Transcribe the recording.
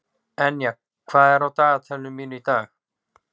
Enja, hvað er á dagatalinu mínu í dag?